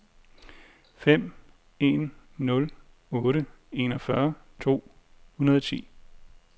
fem en nul otte enogfyrre to hundrede og ti